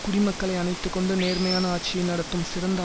குடிமக்களை அணைத்து கொண்டு நேர்மையான ஆட்சியை நடத்தும் சிறந்த